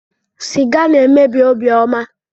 Siga na-emebi obiọma.